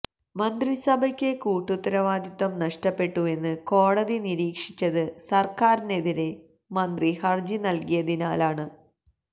മന്ത്രിസഭയ്ക്ക് കൂട്ടുത്തരവാദിത്തം നഷ്ടപ്പെട്ടുവെന്ന് കോടതി നിരീക്ഷിച്ചത് സര്ക്കാരിനെതിരെ മന്ത്രി ഹര്ജി നല്കിയതിനാലാണ്